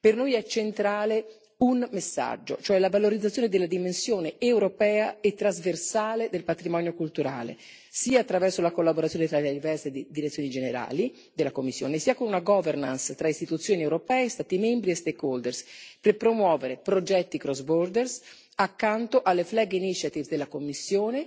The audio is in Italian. Per noi è centrale un messaggio, cioè la valorizzazione della dimensione europea e trasversale del patrimonio culturale, sia attraverso la collaborazione tra le diverse direzioni generali della Commissione sia con una governance tra istituzioni europee, Stati membri e stakeholders per promuovere progetti crossborder accanto alle flag initiatives della Commissione